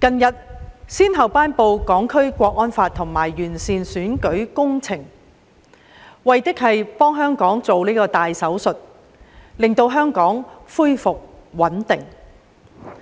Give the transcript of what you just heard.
近日先後頒布《香港國安法》和完善選舉制度，為的是給香港動大手術，令香港恢復穩定。